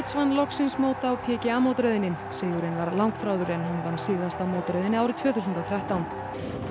vann loksins mót á PGA mótaröðinni sigurinn var langþráður en hann vann síðast á mótaröðinni árið tvö þúsund og þrettán